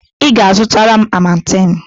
Ị ga-azụtara m Amatem!